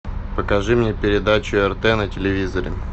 покажи мне передачу рт на телевизоре